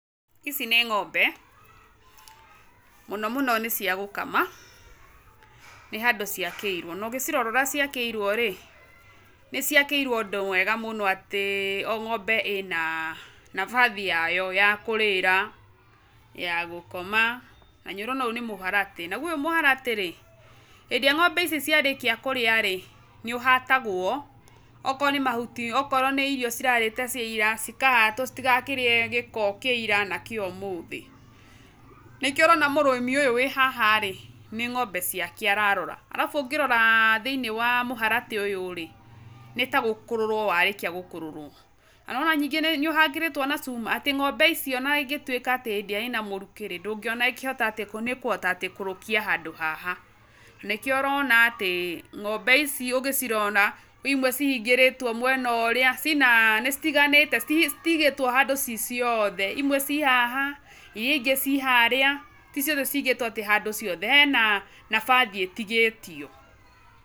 Ici nĩ ng'ombe, mũno mũno nĩcia gũkama, nĩ handũ ciakĩirwo, nogĩcirora ũrĩa ciakĩirwo rĩ, nĩciakĩirwo ũndũ mwega mũno atĩ, o ng'ombe ĩna nabathi yayo ya kũrĩra, ya gũkoma, nanĩũrona ũyũ nĩ mũharatĩ, naguo ũyũ mũharatĩ rĩ, hĩndĩ ĩrĩa ng'ombe cici ciarĩkia kũrĩa rĩ, nĩũhatagwo, okorwo ní mahuti, okorwo nĩ irio cirarĩte cia ira, cikahatwo citigakĩrĩe gĩko kĩa ira na kĩa ũmũthĩ, nĩkĩo ũrona mũrĩmi ũyũ wĩ haha rĩ, nĩ ng'ombe ciake ararora, arabu ũngĩrora thĩ-inĩ wa mũharatĩ ũyũ rĩ, nĩta gũkũrũrwo warĩkia gũkũrũrwo, nanĩwona nyingĩ nĩũhangĩrĩtwo na cuma atĩ ng'ombe icio ona ĩngĩtwĩka atĩ hĩndĩ ĩrĩa ĩna mũrukĩ rĩ, ndũngĩona ĩkĩhota atĩ, kũhota atĩ kũrũkia handũ haha, nanĩkĩo ũrona atĩ, ng'ombe ici ũgĩcirona, kwĩ imwe cihingĩrĩtwo mwena ũrĩa, cina nĩcitiganĩte citi citigĩtwo handũ ci ciothe, imwe ci haha, iria ingĩ ci harĩa, ti ciothe cigĩtwo atĩ handũ ciothe, hena, nabathi ĩtigĩtio.